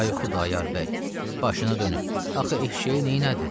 Ay Xudayar bəy, başına dönüm, axı eşiyə neylədin?